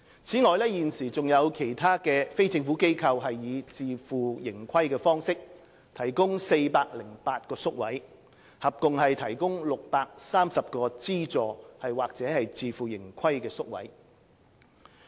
此外，現時還有其他非政府機構以自負盈虧方式提供408個宿位，合共提供630個資助或自負盈虧宿位。